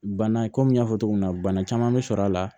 Bana komi n y'a fɔ cogo min na bana caman bɛ sɔrɔ a la